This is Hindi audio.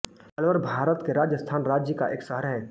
अलवर भारत के राजस्थान राज्य का एक शहर है